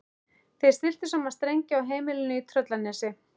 Þeir stilltu saman strengi á heimilinu í Tröllanesi.